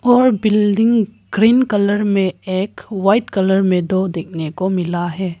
और building green colour में एक वाइट कलर में दो देखने को मिला है।